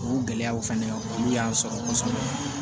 O gɛlɛyaw fɛnɛ olu y'an sɔrɔ kosɛbɛ